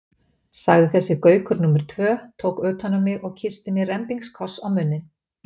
sagði þessi Gaukur númer tvö, tók utan um mig og kyssti mig rembingskoss á munninn.